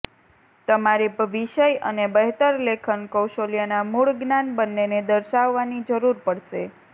તમારે વિષય અને બહેતર લેખન કૌશલ્યોના મૂળ જ્ઞાન બંનેને દર્શાવવાની જરૂર પડશે